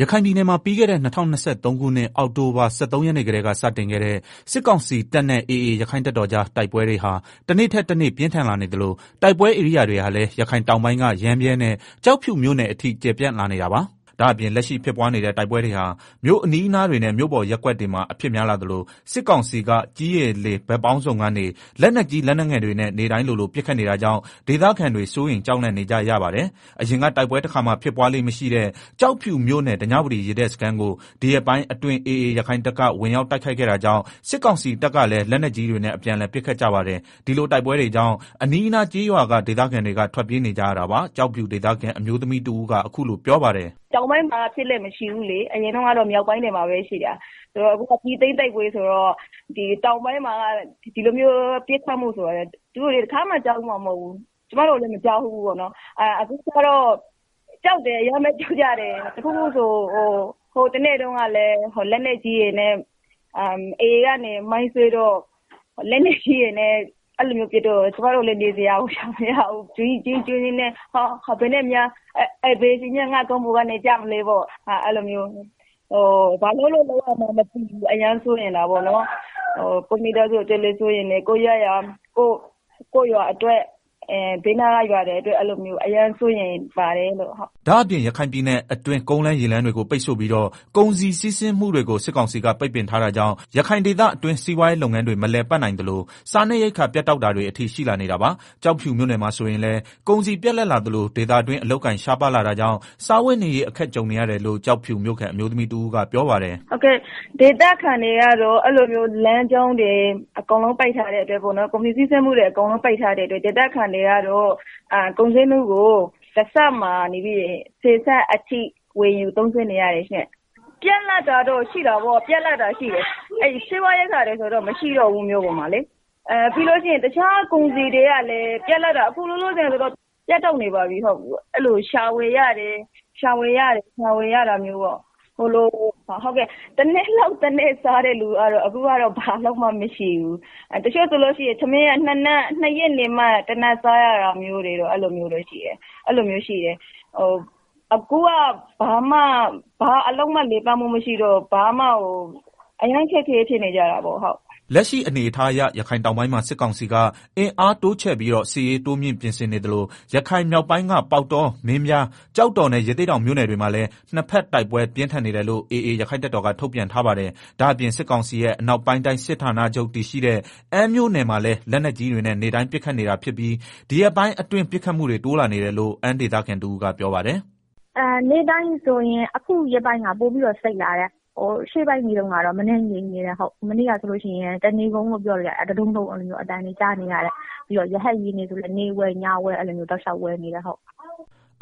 ရခိုင်ပြည်နယ်မှာ ပြီးခဲ့တဲ့ ၂၀၂၃ ခုနှစ် အောက်တိုဘာလ ၁၃ ရက်နေ့ကတည်းက စတင်ခဲ့တဲ့ စစ်ကောင်စီတပ်နဲ့ AA ရက္ခိုင့်တပ်တော်ကြား တိုက်ပွဲတွေဟာ တနေ့ထက်တနေ့ ပြင်းထန် လာနေသလို တိုက်ပွဲဧရိယာတွေဟာလည်း ရခိုင်တောင်ပိုင်းက ရမ်းဗြဲနဲ့ ကျောက်ဖြူမြို့ နယ်အထိကျယ်ပြန့်လာနေတာပါ။ ဒါ့အပြင် လက်ရှိဖြစ်ပွားနေတဲ့ တိုက်ပွဲတွေဟာ မြို့အနီးအနားတွေနဲ့ မြို့ပေါ်ရပ်ကွက်တွေမှာအဖြစ်များလာသလို စစ်ကောင်စီက ကြည်း၊ ရေ၊ လေ ဘက်ပေါင်းစုံကနေ လက်နက်ကြီး လက်နက်ငယ်တွေနဲ့ နေ့တိုင်းလိုလိုပစ်ခတ်နေတာကြောင့် ဒေသခံတွေ စိုးရိမ်ကြောက်လန့်နေကြရပါတယ်။ အရင်က တိုက်ပွဲတခါမှ ဖြစ်ပွားလေ့မရှိတဲ့ ကျောက်ဖြူမြို့နယ် ဓညဝတီရေတပ်စခန်းကို ဒီရက်ပိုင်းအတွင်း AA ရခိုင်တပ်က ဝင်ရောက်တိုက်ခိုက်ခဲ့တာကြောင့် စစ်ကောင်စီတပ်ကလည်း လက်နက်ကြီးတွေနဲ့ အပြန်အလှန်ပစ်ခတ်ကြပါတယ်။ ဒီလိုတိုက်ပွဲတွေကြောင့် အနီးအနား ကျေးရွာက ဒေသခံတွေက ထွက်ပြေးနေကြရတာပါ။ ကျောက်ဖြူ ဒေသခံ အမျိုးသမီးတဦးက အခုလို ပြောပါတယ်။ “ တောင်ပိုင်းမှာကဖြစ်လေ့ ဖြစ်ထမရှိဘူးလေ၊ မြောက်ပိုင်းမှာပဲ ရှိတာ၊ အခုက ပြည်သိမ်း တိုက်ပွဲဆိုတော့ တောင်ပိုင်းမှာက ဒီလိုမျိုး ပစ်ခတ်မှုဆိုတာကလည်း သူတို့တွေ တခါမှ ကြားဖူးမှာ မဟုတ်ဘူး၊ ကျမတို့လည်းမကြားဖူးဘူးဆိုတော့ အရမ်းပဲ ကြောက်ကြတယ်၊ ဟိုတနေ့ကလည်း AA က မိုင်းဆွဲတော့ လက်နက်ကြီးတွေနဲ့ ပြန်ပစ်တော့ ကျမတို့ လည်းနေ စရာမရှိ ဘယ်အချိန်မှာ ခေါင်းပေါ်ကနေ ကျမလဲပေါ့၊ဘာလုပ်လို့ လုပ်ရမှန်းမသိဘူး အရမ်းစိုးရိမ်တာပေါ့နော်၊ ကိုယ့်မိသားစု ကိုယ့်ရပ်ရွာအတွက် အရမ်းစိုးရိမ်ပါတယ်။” ဒါ့အပြင် ရခိုင်ပြည်နယ်အတွင်း ကုန်လမ်းရေလမ်းတွေကို ပိတ်ဆို့ပြီးတော့ ကုန်စည်စီး ဆင်းမှု တွေကို စစ်ကောင်စီက ပိတ်ပင်ထားတာကြောင့် ရခိုင်ဒေသခံတွင်း စီးပွားရေးလုပ်ငန်းတွေ မလည် ပတ်နိုင်သလို စားနပ်ရိက္ခာပြတ်တောက်တာတွေအထိရှိလာနေတာပါ။ ကျောက်ဖြူမြို့နယ်မှာဆိုရင်လည်း ကုန်စည်ပြတ်လပ်လာသလို ဒေသတွင်း အလုပ်အကိုင် ရှားပါးလာတာကြောင့် စားဝတ်နေရေးအခက်ကြုံနေရတယ်လို့ ကျောက်ဖြူ မြို့ခံ အမျိုးသမီးတဦးကပြောပါတယ်။ “ လမ်းကြောင်းတွေ အကုန်လုံး ပိတ်ထားတဲ့ အတွက် ကုန်စည် စီးဆင်းမှုတွေ ပိတ်ထား တဲ့အတွကဒေသခံတွေကတော့ ကုန်စျေးနှုန်းဆယ်ဆလောက် အထိပေး ဝယ်ေတယ်။ ပြတ်လပ်တာ ရှိတယ် စျေးဝါးတွေဆိုရင် မရှိတော့ဘူး မြို့ပေါ်မှာ၊ တခြားကုန်စည်တွေက လည်း အခုလောလောဆယ် ပြတ်တောက်နေပြီ။ ရှာပြီးတော့ ဝယ်ရတယ်၊ တနေ့လုပ်မှ တနေ့စားရတဲ့ လူတွေကလည်း အခုက တချို့ဆိုရင် နှစ်ရက်နေမှ ထမင်းတထပ်စားရတာမျိုး အဲလိုရှိတယ်၊ အခုက ဘာအလုပ်မှ လည်ပတ်မှုမရှိတော့ အရမ်းအခက်အခဲဖြစ်နေကြတာပေါ့ဟုတ်။ ” လက်ရှိအနေအထားအရ ရခိုင်တောင်ပိုင်းမှာ စစ်ကောင်စီက အင်အားတိုးချဲ့ပြီးတော့ စစ်ရေး တိုးမြှင့်ပြင်ဆင်နေသလို ရခိုင်မြောက်ပိုင်းက ပေါက်တော မင်းပြား ကျောက်တော်နဲ့ ရသေ့တောင်မြို့နယ်တွေမှာလည်း နှစ်ဘက်တိုက်ပွဲ ပြင်းထန်နေတယ်လို့ AAရက္ခိုင့်တပ်တော်က ထုတ်ပြန်ထားပါတယ်။ ဒါ့အပြင်စစ်ကောင်စီရဲ့ အနောက်ပိုင်းတိုင်းစစ်ဌာနချုပ်တည်ရှိတဲ့ အမ်းမြို့နယ်မှာလည်း လက်နက်ကြီးတွေနဲ့ နေ့တိုင်းပစ်ခတ်နေတာပြီး ဒီရက်ပိုင်းအတွင်း ပစ်ခတ်မှုတွေ တိုးလာနေ တယ်လို့ အမ်းဒေသခံ တဦးကပြောပါတယ်။ “ နေ့တိုင်းဆိုရင် အခုရက်ပိုင်းက ပိုပြီးတော့ စိတ်လာတယ်၊ ရှေ့ပိုင်းတွေတုန်းကတော့ မနည်းငြိမ်နေတယ်၊ မနေ့က ဆိုရင် တနေကုန်လို့ပြောလို့ရတယ် တဒုန်းဒုန်း တဒိုင်းတဒိုင်းနဲ့ အဲလိုမျိုးအသံတွေ ကြားနေရတယ်၊ ပြီးတော့ ရဟတ်ယာဉ်တွေဆိုရင်လည်း နေ့ဝဲ ညဝဲ အဲလိုတောက်လျောက်ဝဲနေတာ။”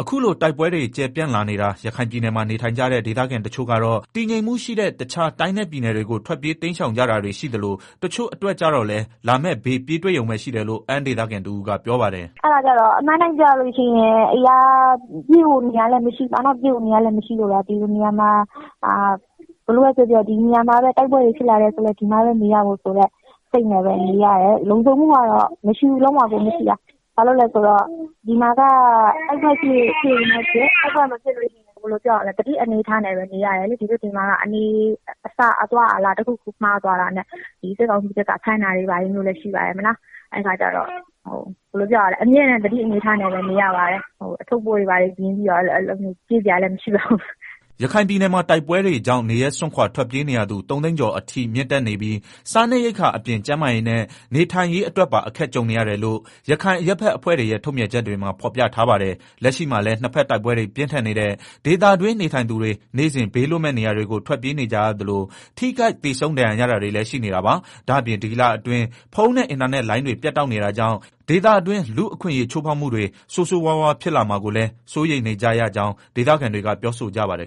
အခုလို တိုက်ပွဲတွေကျယ်ပြန့်လာနေတာ ရခိုင်ပြည်နယ်မှာ နေထိုင်ကြတဲ့ ဒေသခံ တချို့ကတော့ တည်ငြိမ်မှုရှိတဲ့ တခြား တိုင်းနဲ့ပြည်နယ်တွေကို ထွက်ပြေးတိမ်ရှောင်ကြတာတွေရှိသလို တချို့အတွက်ကျတော့လည်း လာမယ့်ဘေးပြေးတွေ့ရုံဘဲရှိတယ်လို့ အမ်းဒေသခံတဦးကပြောပါတယ်။ “ အမှန်အတိုင်းပြောရရင် ပြေးဖို့နေရာလည်းမရှိဘူး၊ပြေးဖို့ နေရာမရှိလို့သာ ဒီလိုနေရာမှာ တိုက်ပွဲတွေဖြစ်လာရင်လည်း ဒီမှာပဲနေရမှာ၊ လုံခြုံမှုကတော့ လုံးဝကိုမရှိတာ၊ ဘာလို့ လည်းဆိုတော့ ဒီမှာက တိုက်ပွဲဖြစ်ရင်လည်း ဖြစ်မဖြစ်ရင်လည်း သတိအနေ အထားနဲ့ နေရတယ်၊ ဒီဘက်မှာက အနေအစားအသွားအလာ တခုခုမှားသွားတာနဲ့ စစ်ကောင်စီက ဖမ်းတာတွေဘာတွေရှိတယ် အဲခါကျတော့ အမြဲတမ်းသတိနဲ့နေရတယ်၊ အထုပ်အပိုး တွေပြင်ပြီးတော့ ပြေးစရာလည်းမရှိတော့ဘူ။” ရခိုင်ပြည်နယ်မှာ တိုက်ပွဲတွေကြောင့် နေရပ်စွန့်ခွာထွက်ပြေးနေရသူ ၃သိန်း ကျော်အထိမြင့်တက်နေပြီး စားနပ်ရက္ခာအပြင် ကျန်းမာရေးနဲ့ နေထိုင်ရေးအတွက်ပါ အခက်ကြုံနေရတယ်လို့ ရခိုင်အရပ်ဖက်အဖွဲ့တွေရဲ့ ထုတ်ပြန်ချက်တွေမှာဖော်ပြထားပါတယ်။ လက်ရှိမှာလည်း နှစ်ဖက်တိုက်ပွဲတွေ ပြင်းထန်နေတဲ့ ဒေသတွင်း နေထိုင်သူတွေ နေ့စဉ် ဘေးလွတ်မယ့်နေရာတွေကို ထွက်ပြေးနေကြရသလို ထိခိုက်သေဆုံးဒဏ်ရာရတာတွေလည်းရှိနေတာပါ။ ဒါ့ပြင် ဒီလအတွင်း ဖုန်းနဲ့ အင်တာနက်လိုင်းတွေ ပြတ်တောက်နေတာကြောင့် ဒေသတွင်း လူ့အခွင့်အရေးချိုးဖောက်မှုတွေ ဆိုးဆိုးရွားရွားဖြစ်လာမှာကိုလည်း စိုးရိမ်နေကြရကြောင်း ဒေသခံတွေက ပြောဆိုပါတယ်